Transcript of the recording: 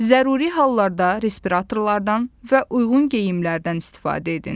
Zəruri hallarda respiratorlardan və uyğun geyimlərdən istifadə edin.